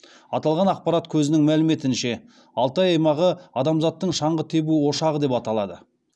аталған ақпарат көзінің мәліметінше алтай аймағы адамзаттың шаңғы тебу ошағы деп аталады